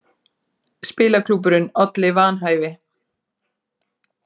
Spilaklúbburinn olli vanhæfi